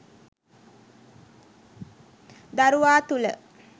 දරුවා තුළ